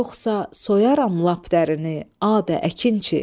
Yoxsa soyaram lap dərini, adə, əkinçi.